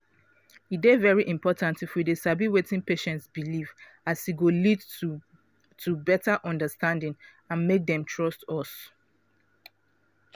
e dey very important if we dey sabi wetin patient believe as e go lead to to beta understanding and make dem trust us.